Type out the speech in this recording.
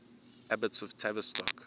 abbots of tavistock